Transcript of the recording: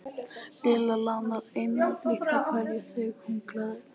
Lilla lánaði henni liti á hverjum degi því hún gleymdi sínum alltaf heima.